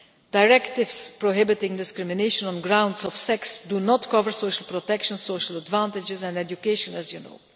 Directives prohibiting discrimination on grounds of sex do not cover social protection, social advantages and education, as you know.